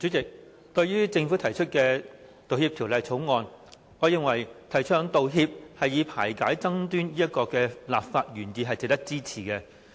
主席，對於政府提出的《道歉條例草案》，我認為提倡道歉以排解爭端這個立法原意值得支持。